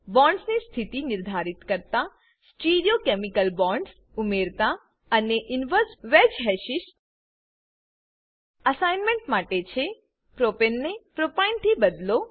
bonds ની સ્થિતિ નિર્ધારિત કરતા stereochemical bonds stereochemical bond ઉમેરતા અને inverse wedge hashes inverse wedge hashes assignment છે પ્રોપને પ્રોપેન ને પ્રોપીને પ્રોપાઈન થી બદલો